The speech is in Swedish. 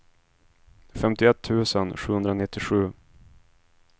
femtioett tusen sjuhundranittiosju